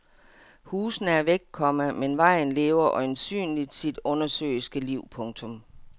Husene er væk, komma men vejen lever øjensynligt sit undersøiske liv. punktum